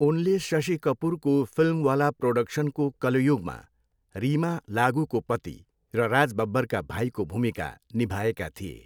उनले शशि कपुरको फिल्मवाला प्रोडक्सनको कलयुगमा रिमा लागुको पति र राज बब्बरका भाइको भूमिका निभाएका थिए।